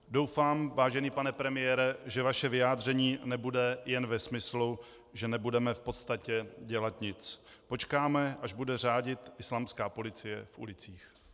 Doufám, vážený pane premiére, že vaše vyjádření nebude jen ve smyslu, že nebudeme v podstatě dělat nic, počkáme, až bude řádit islámská policie v ulicích.